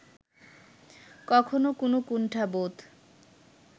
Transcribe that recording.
কখনো কোনো কুণ্ঠাবোধ